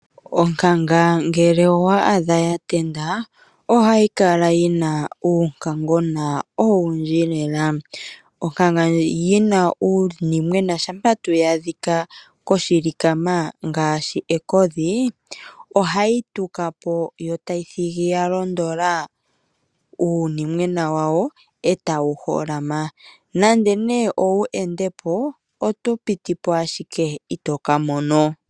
Onkanga ngele owa adha ya tendula, ohayi kala yi na uunkangona owundji lela. Onkanga yi na uunimwena shampa tuu ya adhika koshilikama ngaashi ekodhi, ohayi tuka po yo tayi thigi ya londodha uunimwena wawo e tawu holama. Nando nee ou ende po oto piti po ashike, ito ka mono.